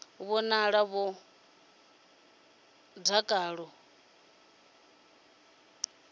vhonala vho ḓala dakalo vha